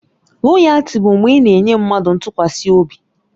Loyaltị bụ mgbe ị na-enye mmadụ ntụkwasị obi.